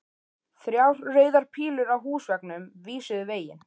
Þrjár rauðar pílur á húsveggnum vísuðu veginn.